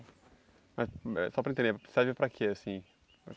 Ah só para eu entender, serve para quê, assim?